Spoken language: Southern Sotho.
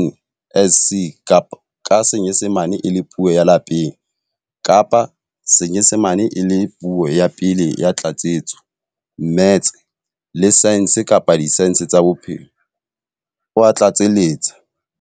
NSC ka Senyesemane e le Puo ya Lapeng kapa Senyesemane e le Puo ya Pele ya Tlatsetso, mmetse, le saense kapa disaense tsa bophelo, o a tlatseletsa.